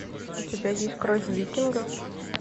у тебя есть кровь викингов